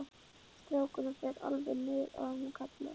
Strákurinn fer alveg niður að honum og kallar